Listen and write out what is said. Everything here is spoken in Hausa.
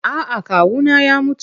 A'a kawuna ya mutu.